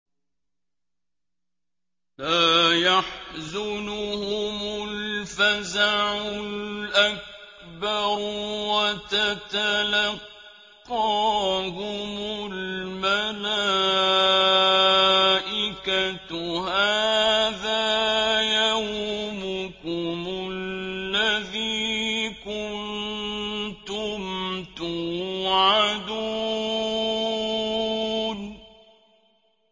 لَا يَحْزُنُهُمُ الْفَزَعُ الْأَكْبَرُ وَتَتَلَقَّاهُمُ الْمَلَائِكَةُ هَٰذَا يَوْمُكُمُ الَّذِي كُنتُمْ تُوعَدُونَ